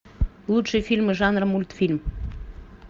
лучшие фильмы жанра мультфильм